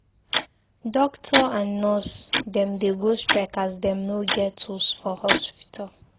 Doctor and nurse dem dey go strike as dem no get tools for hospital.